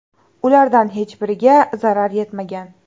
Ulardan hech biriga zarar yetmagan.